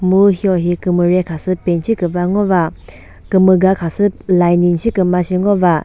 mu hiohi kümüre khasü paint shi küva ngo kümüga khasü lining shiküma shi ngova.